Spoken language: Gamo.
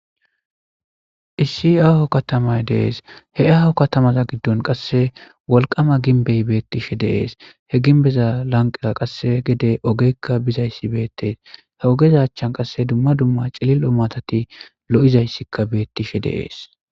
issi aaho katamay dees he aaho katamaza giddon qasse wolqama ginbey beettishe deees he ginbeza lanqera qasse gede ogekka bizayssi beettees he ogezachchan qasse dumma dumma cililo matati lo7izayssikka beettishe deees